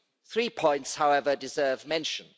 Three points, however, deserve mention.